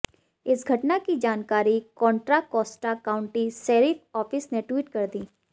इस घटना की जानकारी Contra Costa County sheriff office ने ट्वीट कर दी